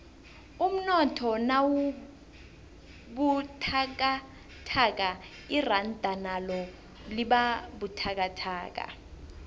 umnotho nawubuthakathaka iranda nalo libabuthakathaka